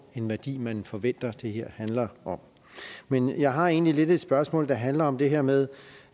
energi man forventer det her handler om men jeg har egentlig lidt et spørgsmål der handler om det her med